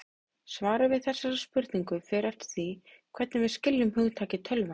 Svarið við þessari spurningu fer eftir því hvernig við skiljum hugtakið tölva.